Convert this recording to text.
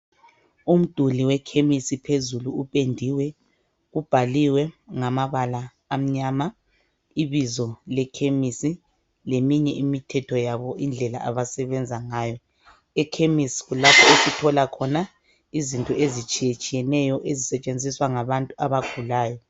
umduli wekhemesi phezulu upendiwe ubhaliwe ngamabala amnyama ibizo lekhemesi leminye imithetho yabo indlela abasebenza ngayo ekhemesi kulapho okutholwa khona izinto ezitshiyetshiyeneyo ezisetshenziswa ngabantu abagulayo